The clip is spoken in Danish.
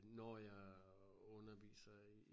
Når jeg øh underviser i